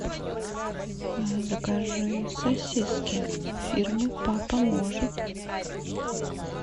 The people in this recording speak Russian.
закажи сосиски фирмы папа может